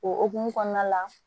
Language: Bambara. O hukumu kɔnɔna la